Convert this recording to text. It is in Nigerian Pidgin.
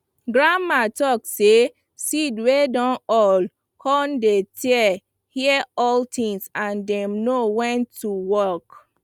grandma talk say seed wey dun old cun dey tear hear all thing and dem know when to work